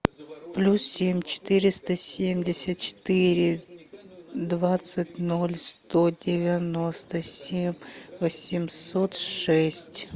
плюс семь четыреста семьдесят четыре двадцать ноль сто девяносто семь восемьсот шесть